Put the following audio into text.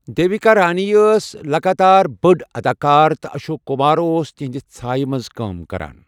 دیوِکا رانی ٲس لگاتار بٔڑ اداکار تہٕ اشوک کُمار اوس تہنٛدِ ژھایہِ منٛز کٲم کران۔